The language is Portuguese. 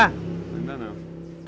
Ainda não.